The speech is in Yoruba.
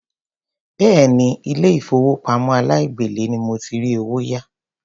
Béèni ilé ìfowópamọ́ aláìgbèlé ni mo ti rí owó yá.